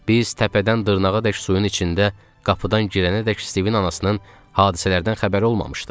Biz təpədən dırnağadək suyun içində qapıdan girənədək Stivin anasının hadisələrdən xəbəri olmamışdı.